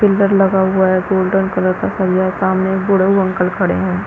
Filter लगा हुआ है गोल्डन कलर का और यहाँ सामने एक बुढ़ऊ अंकल खड़े है।